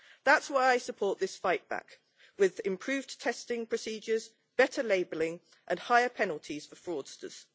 That is why I support this fight back with improved testing procedures, better labelling and higher penalties for fraudsters.